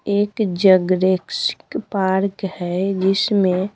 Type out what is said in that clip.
एक Jurassic park है जिसमें--